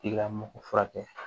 I ka mɔgɔ furakɛ